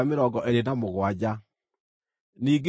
Ningĩ Jehova akĩĩra Musa atĩrĩ,